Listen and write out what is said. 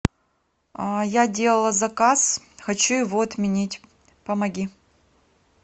я делала заказ хочу его отменить помоги